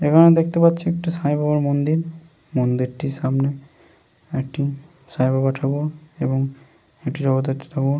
এইখানে দেখতে পাচ্ছি একটি সাই বাবার মন্দির। মন্দিরটির সামনে একটি সাই বাবা ঠাকুর এবং একটি জগদ্ধাত্রী ঠাকুর --